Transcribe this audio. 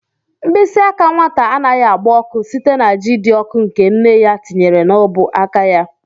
Mkpịsị aka nwata anaghị agba ọkụ site na ji dị ọkụ nke nne ya tinyere n'ọbụ aka ya.